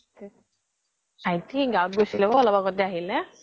ভাইটি গাঁৱত গৈছিলে অলপ আগত আহিলে